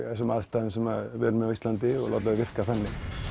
þessum aðstæðum sem við erum á Íslandi og láta þau virka þannig